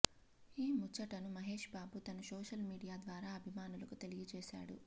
ఈ ముచ్చటను మహేష్ బాబు తన సోషల్ మీడియా ద్వారా అభిమానులకు తెలియజేశాడు